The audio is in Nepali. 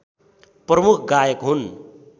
प्रमुख गायक हुन्